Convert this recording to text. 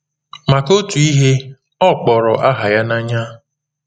Maka otu ihe, ọ kpọrọ aha ya n’anya.